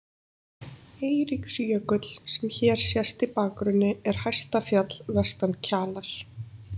Eiríksjökull, sem hér sést í bakgrunni, er hæsta fjall vestan Kjalar.